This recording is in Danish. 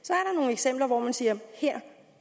eksempler hvor man siger her